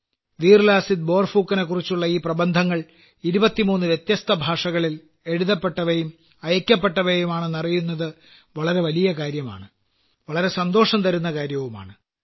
വീർലാസിത് ബോർഫുക്കനെക്കുറിച്ചുള്ള ഈ പ്രബന്ധങ്ങൾ 23 വ്യത്യസ്ത ഭാഷകളിൽ എഴുതപ്പെട്ടവയും അയയ്ക്കപ്പെട്ടവയുമാണെന്നറിയുന്നത് വളരെ വലിയ കാര്യമാണ് വളരെ സന്തോഷം തരുന്ന കാര്യവുമാണ്